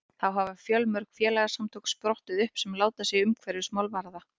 þá hafa fjölmörg félagasamtök sprottið upp sem láta sig umhverfismál varða